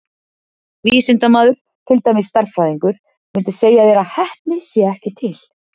Vísindamaður, til dæmis stærðfræðingur, mundi segja þér að heppni sé ekki til.